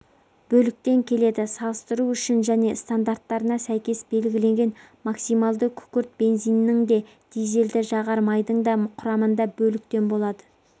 бөліктен келеді салыстыру үшін және стандарттарына сәйкес белгіленген максималды күкірт бензиннің де дизельді жағар майдың да құрамында бөліктен болады